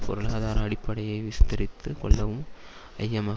பொருளாதார அடிப்படையை விஸ்தரித்துக் கொள்ளவும் ஐஎம்எப்